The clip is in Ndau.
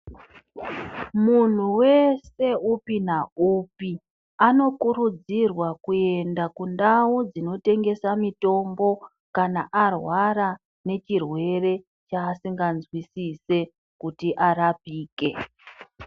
Munhu wes upi naupi anokurudzirwa kuyenda kundau dzinotengeserwa mutombo kana arwara nechirwere chaasingazwisise kuti arapike.